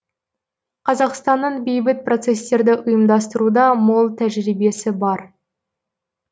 қазақстанның бейбіт процесстерді ұйымдастыруда мол тәжірибесі бар